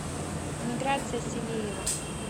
миграция сивеева